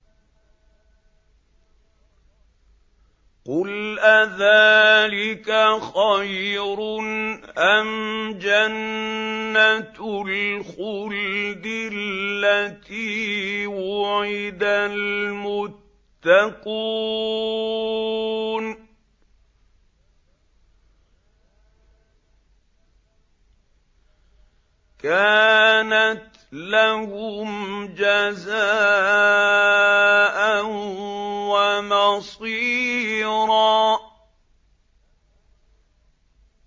قُلْ أَذَٰلِكَ خَيْرٌ أَمْ جَنَّةُ الْخُلْدِ الَّتِي وُعِدَ الْمُتَّقُونَ ۚ كَانَتْ لَهُمْ جَزَاءً وَمَصِيرًا